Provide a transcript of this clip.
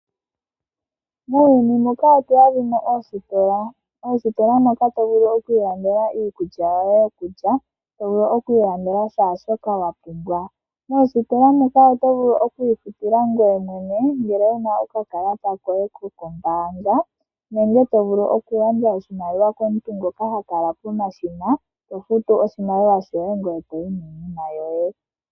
Muuyuni omu udha oositola. Oositola moka to vulu oku ilandela iikulya yoye yokulya to vulu oku ilandela shaa shoka wapumbwa. Moositola moka oto vulu oku ifutila ngoye mwene ngele wuna okakalata koye kokombanga, nongele to vulu oku gandja oshimaliwa komuntu ngoka ha kala pomashina to futu oshimaliwa shoye ngoye toyi niinima yoye.